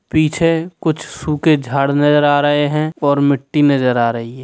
पीछे कुछ सूखे झाड नजर आ रहे हैं और मिट्टी नजर आ रही है।